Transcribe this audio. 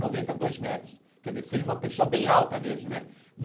noventa dois metros Quer dizer, seria uma pessoa bem alta mesmo né.